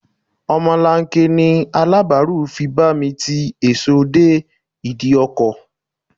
Omolanke ni Aláàbáárù fi bá mi ti èso dé ìdí ọkọ̀.